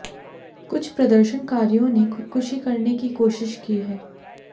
कुछ प्रदर्शनकारियों ने खुदकुशी करने की कोशिश की है